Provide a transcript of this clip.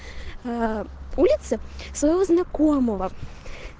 улицу своего знакомого